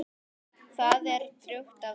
Það er drjúgt af fiski.